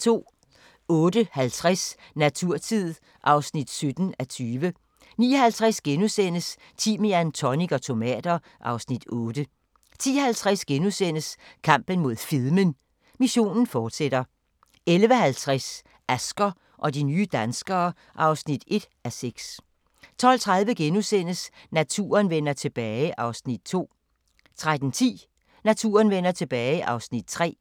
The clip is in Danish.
08:50: Naturtid (17:20) 09:50: Timian, tonic og tomater (Afs. 8)* 10:50: Kampen mod fedmen – missionen fortsætter * 11:50: Asger og de nye danskere (1:6) 12:30: Naturen vender tilbage (Afs. 2)* 13:10: Naturen vender tilbage (Afs. 3)